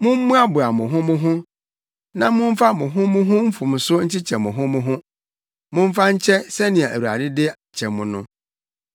Mommoaboa mo ho mo ho na momfa mo ho mo ho mfomso nkyekyɛ mo ho mo ho. Momfa nkyɛ sɛnea Awurade de kyɛ mo no.